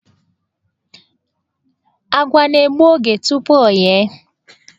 Àgwà na-egbu oge tupu o ghee.